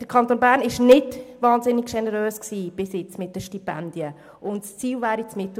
Der Kanton Bern war bis anhin mit den Stipendien nicht sehr generös.